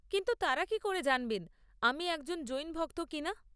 কিন্তু তাঁরা কি করে জানবেন আমি একজন জৈন ভক্ত কিনা?